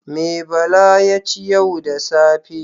Me Bala ya ci yau da safe?